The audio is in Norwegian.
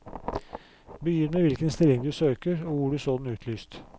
Begynn med hvilken stilling du søker og hvor du så den utlyst.